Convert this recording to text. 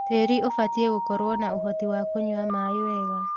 Tĩri ũbatie gũkorwo na ũhoti wa kũnywa maĩ wega.